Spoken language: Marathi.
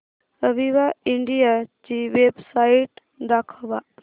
अविवा इंडिया ची वेबसाइट दाखवा